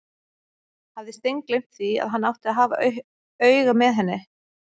Hafði steingleymt því að hann átti að hafa auga með henni!